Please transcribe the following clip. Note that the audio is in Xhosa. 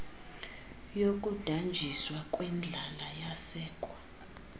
yokudanjiswa kwendlala yasekwa